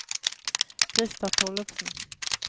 Krister Tollefsen